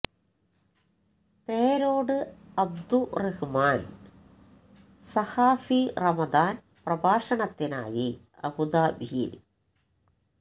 പേരോട് അബ്ദുറഹിമാന് സഖാഫി റമദാന് പ്രഭാഷണ ത്തിനായി അബുദാബി യില്